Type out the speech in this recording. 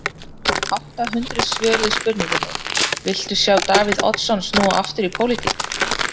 Átta hundruð svöruðu spurningunni, viltu sjá Davíð Oddsson snúa aftur í pólitík?